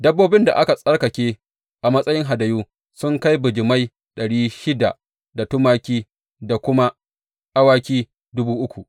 Dabbobin da aka tsarkake a matsayi hadayu sun kai bijimai ɗari shida da tumaki da kuma awaki dubu uku.